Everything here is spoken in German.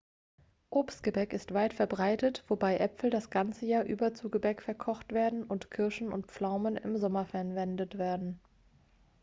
obstgebäck ist weit verbreitet wobei äpfel das ganze jahr über zu gebäck verkocht werden und kirschen und pflaumen im sommer verwendet werden